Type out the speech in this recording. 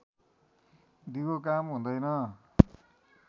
दिगो काम हुँदैन